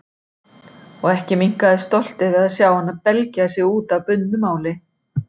Og ekki minnkaði stoltið við að sjá hana belgja sig út af bundnu máli.